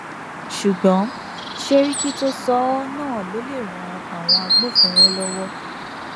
ṣùgbọn sẹríkì tó sọ ọ náà ló lè ran àwọn agbófinró lọwọ